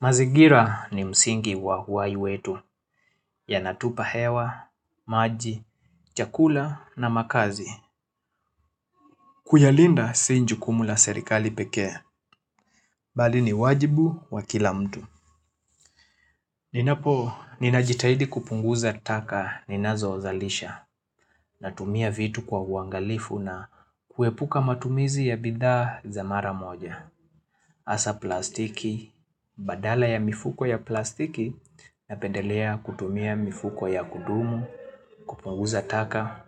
Mazingira ni msingi wa uhai wetu yanatupa hewa, maji, chakula na makazi. Kuyalinda si jukumu la serikali peke, bali ni wajibu wa kila mtu. Ninapo, ninajitahidi kupunguza taka ninazozalisha natumia vitu kwa uangalifu na kuepuka matumizi ya bidhaa za mara moja. hAsa plastiki, badala ya mifuko ya plastiki napendelea kutumia mifuko ya kudumu, kupunguza taka.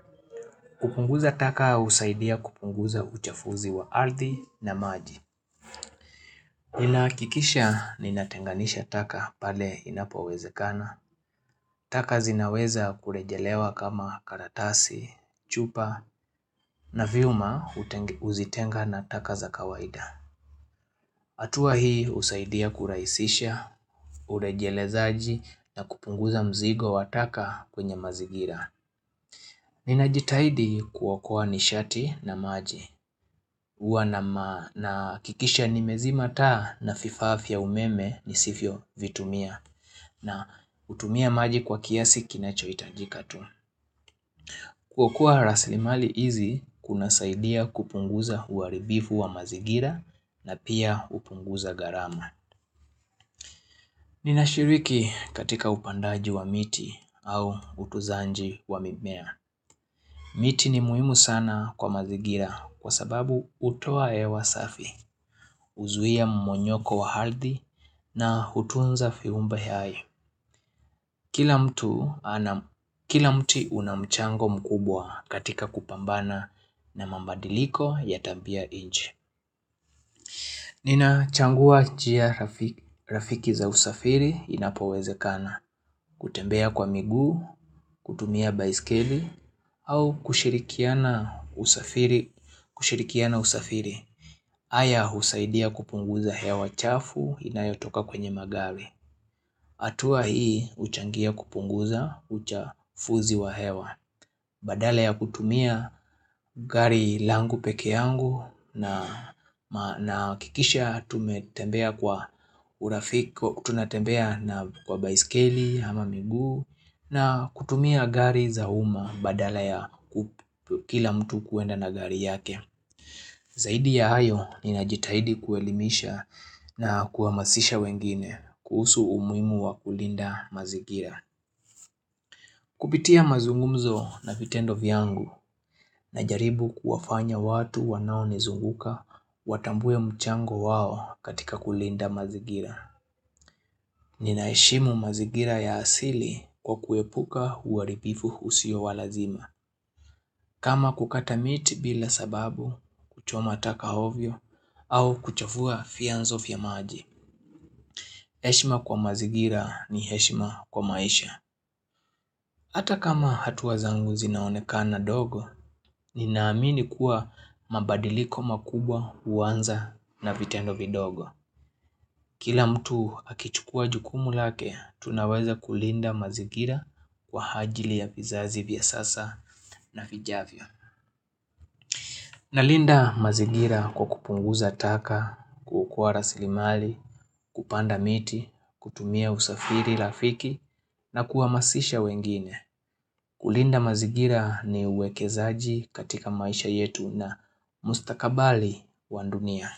Kupunguza taka husaidia kupunguza uchafuzi wa ardhi na maji. Inakikisha ninatenganisha taka pale inapowezekana. Taka zinaweza kurejelewa kama karatasi, chupa na viuma uzitenga na taka za kawaida. hAtuwa hii husaidia kurahisisha, urejelezaji na kupunguza mzigo wa taka kwenye mazingira. Ninajitahidi kuokoa nishati na maji, huwa nahakikisha nimezima taa na vifaa vya umeme nisivyovitumia na hutumia maji kwa kiasi kinachohitajika tu. Kwa kua rasilimali hizi kunasaidia kupunguza uharibifu wa mazingira na pia hupunguza gharamu. Ninashiriki katika upandaji wa miti au utunzaji wa mimea. Miti ni muhimu sana kwa mazingira kwa sababu hutoa hewa safi, huzuia mmonyoko wa ardhi na hutunza viumba hai. Kila mtu ana, kila mti una mchango mkubwa katika kupambana na mabadiliko ya tambia nje. Ninachagua njia rafiki za usafiri inapowezekana kutembea kwa miguu, kutumia baiskeli au kushirikiana usafiri hAya husaidia kupunguza hewa chafu inayotoka kwenye magari hAtua hii huchangia kupunguza uchafuzi wa hewa Baadala ya kutumia gari langu peke yangu Nahakikisha tumetembea kwa urafiki tunatembea na kwa baiskeli, ama miguu na kutumia gari za umma badala ya kila mtu kuenda na gari yake Zaidi ya hayo ninajitahidi kuelimisha na kuamasisha wengine kuhusu umuhimu wa kulinda mazingira Kupitia mazungumzo na vitendo vyangu najaribu kuwafanya watu wanaonizunguka watambue mchango wao katika kulinda mazingira. Ninaheshimu mazingira ya asili kwa kuepuka uharibufu usio wa lazima. Kama kukata miti bila sababu, kuchoma taka ovyo, au kuchafua vianzo vya maji. Heshima kwa mazingira ni heshima kwa maisha. Hata kama hatua zangu zinaonekana dogo, ninaamini kuwa mabadiliko makubwa huanza na vitendo vidogo. Kila mtu akichukua jukumu lake, tunaweza kulinda mazingira kwa ajili ya vizazi vya sasa na vijavyo. Nalinda mazingira kwa kupunguza taka, kukua rasilimali, kupanda miti, kutumia usafiri, rafiki na kuamasisha wengine. Kulinda mazingira ni uwekezaji katika maisha yetu na mustakabali wa dunia.